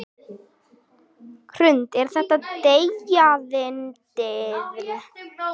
Hrund: Er þetta deyjandi iðn?